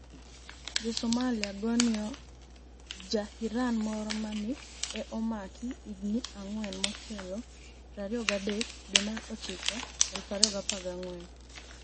Jo Somalia goniyo Ja-Irani moro ma ni e omak hignii anig'weni motelo 23 dwe mar ochiko 2019